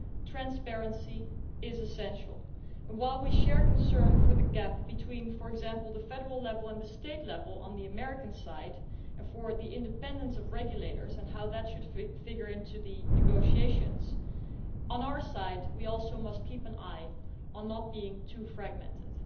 Transparency is essential, and while we share concerns over the gap between, for example, the federal level and the state level on the American side, and over the independence of regulators and how that should figure in the negotiations on our side, we must also guard against being too fragmented.